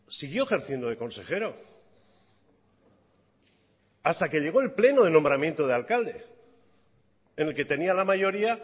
siguió ejerciendo de consejero hasta que llegó el pleno de nombramiento de alcalde en el que tenía la mayoría